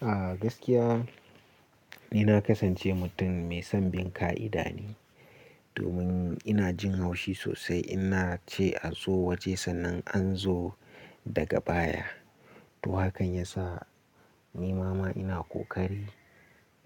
A gaskiya ni na kasance mutum mai son bin ƙa'ida ne domin ina jin haushi sosai in na ce a zo waje sannan a zo daga baya. To hakan yasa ni ma ina ƙoƙari